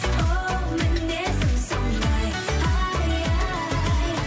оу мінезім сондай ай ай